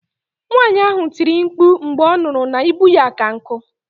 Nwaanyi ahụ tiri mkpu mgbe ọ nụrụ na ibu ya ka nku